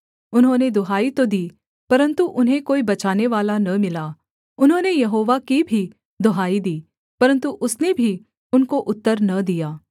उन्होंने दुहाई तो दी परन्तु उन्हें कोई बचानेवाला न मिला उन्होंने यहोवा की भी दुहाई दी परन्तु उसने भी उनको उत्तर न दिया